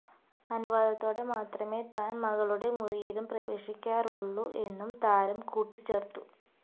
അനുവാദത്തോടെ മാത്രമേ താൻ മകളുടെ മുറിയിലും പ്രവേശിക്കാറുള്ളൂ എന്നും താരം കൂട്ടിച്ചേർത്തു